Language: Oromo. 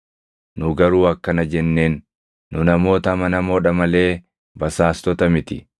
Nu garuu akkana jenneen; ‘Nu namoota amanamoo dha malee basaastota miti.